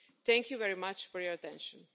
Thank you very much for your attention.